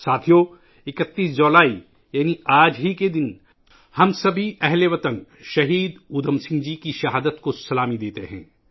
ساتھیو ، 31 جولائی یعنی آ ج ہی کے دن ، ہم تمام اہل وطن، شہید اودھم سنگھ جی کی شہادت کو سلام پیش کرتے ہیں